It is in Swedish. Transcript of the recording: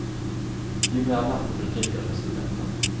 Ju mer vatten du dricker, desto bättre.